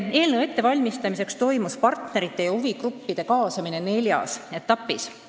Eelnõu ette valmistades toimus partnerite ja huvigruppide kaasamine neljas etapis.